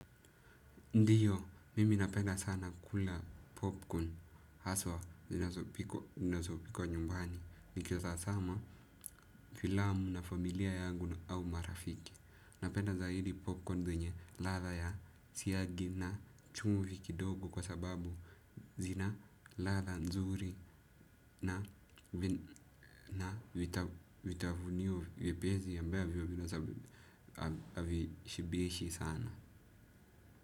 Ndiyo, mimi napenda sana kula popcorn haswa zinazopikwa nyumbani. Nikitazama filamu na familia yangu au marafiki. Napenda zaidi popcorn zenye ladha ya siagi na chumvi kidogo kwa sababu zina ladha nzuri na vitafunio vipi hizi ambavyo havishibishi sana.